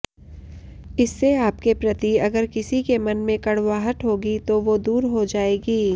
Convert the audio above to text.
इससे आपके प्रति अगर किसी के मन में कड़ुवाहट होगी तो वो दूर हो जाएगी